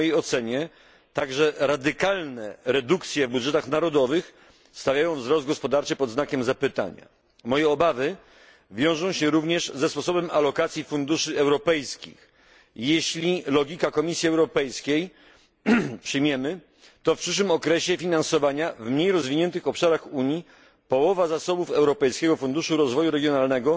W mojej ocenie także radykalne redukcje w budżetach narodowych stawiają wzrost gospodarczy pod znakiem zapytania. Mam również obawy co do sposobu alokacji funduszy europejskich jeśli przyjmiemy logikę Komisji Europejskiej, to w przyszłym okresie finansowania na mniej rozwiniętych obszarach Unii połowa zasobów Europejskiego Funduszu Rozwoju Regionalnego